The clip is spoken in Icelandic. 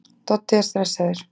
Doddi er stressaður.